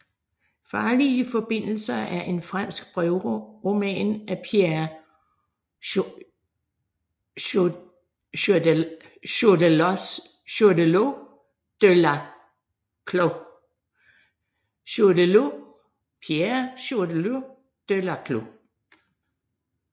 Farlige forbindelser er en fransk brevroman af Pierre Choderlos de Laclos